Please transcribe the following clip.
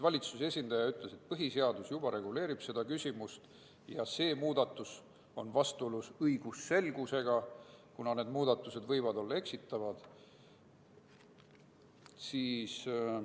Valitsuse esindaja ütles, et põhiseadus juba reguleerib seda küsimust ja et see muudatus on vastuolus õigusselgusega, kuna tehtav muudatus võib olla eksitav.